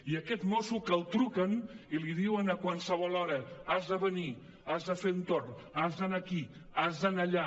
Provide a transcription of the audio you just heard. i aquest mosso que li truquen i li diuen a qualsevol hora has de venir has de fer un torn has d’anar aquí has d’anar allà